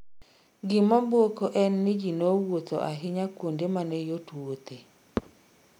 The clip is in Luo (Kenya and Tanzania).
Gima buoko en ni jii nowuotho ahinya kuonde mane yot wuothe